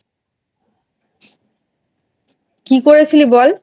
কি করেছিলি বল?